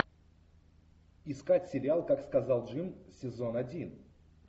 искать сериал как сказал джим сезон один